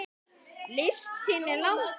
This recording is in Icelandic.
Listinn er langur.